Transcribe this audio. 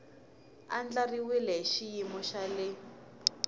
andlariwile hi xiyimo xa le